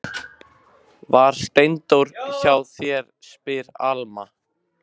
Var Steindór hjá þér, spyr Alma.